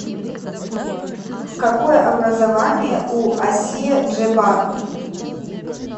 какое образование у ассия джебар